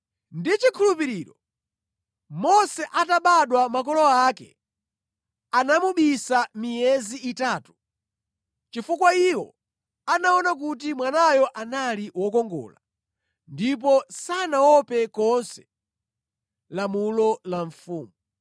Ndi chikhulupiriro Mose atabadwa makolo ake anamubisa miyezi itatu, chifukwa iwo anaona kuti mwanayo anali wokongola ndipo sanaope konse lamulo la mfumu.